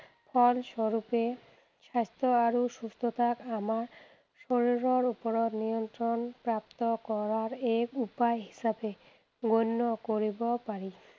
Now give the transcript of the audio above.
ফলস্বৰূপে স্বাস্থ্য আৰু সুস্থতাক আমাৰ শৰীৰৰ ওপৰত নিয়ন্ত্ৰণ প্ৰাপ্ত কৰাৰ এক উপায় হিচাপে গণ্য কৰিব পাৰি।